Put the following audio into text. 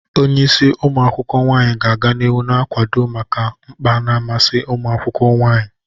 Onye isi umu akwukwo nwanyi ga-aga n'ihu na-akwado maka mkpa na mmasị ụmụ akwụkwọ nwanyị.